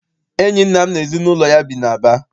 Enyi nna m na ezinụlọ ya bi n'Aba.